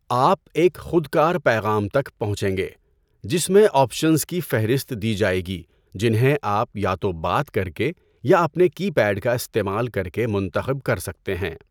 آپ ایک خودکار پیغام تک پہنچیں گے، جس میں آپشنز کی فہرست دی جائے گی جنہیں آپ یا تو بات کرکے یا اپنے کی پیڈ کا استعمال کر کے منتخب کر سکتے ہیں۔